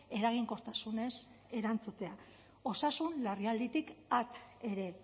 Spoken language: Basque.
eraginkortasunez erantzutea osasun larrialditik at ere